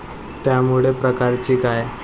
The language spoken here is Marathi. त्यामुळे प्रकारची काय?